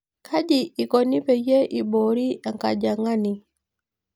Kaji ikono peyie iboori enkajang'ani?